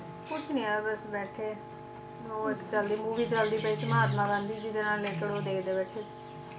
ਕੁਛ ਨੀ ਯਾਰ ਬਸ ਬੈਠੇ ਹੋਰ ਚਲਦੀ movie ਚਲਦੀ ਪਈ ਸੀ ਮਹਾਤਮਾ ਗਾਂਧੀ ਜੀ ਦੇ ਨਾਲ related ਉਹ ਦੇਖਦੇ ਬੈਠੇ